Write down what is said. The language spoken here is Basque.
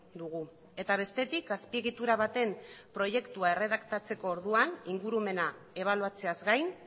dugu eta bestetik azpiegitura baten proiektu erredaktatzeko orduan ingurumena ebaluatzeaz gain